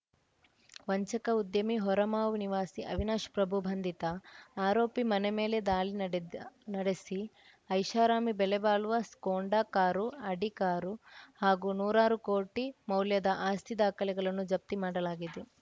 ವಂಚಕ ಉದ್ಯಮಿ ಹೊರಮಾವು ನಿವಾಸಿ ಅವಿನಾಶ್‌ ಪ್ರಭು ಬಂಧಿತ ಆರೋಪಿ ಮನೆ ಮೇಲೆ ದಾಳಿ ನಡೆದ ನಡೆಸಿ ಐಷಾರಾಮಿ ಬೆಲೆ ಬಾಳುವ ಸ್ಕೊಂಡಾ ಕಾರು ಅಡಿ ಕಾರು ಹಾಗೂ ನೂರಾರು ಕೋಟಿ ಮೌಲ್ಯದ ಆಸ್ತಿ ದಾಖಲೆಗಳನ್ನು ಜಪ್ತಿ ಮಾಡಲಾಗಿದೆ